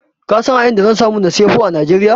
Ka san a inda zan samu na siyi Pho a Najeriya?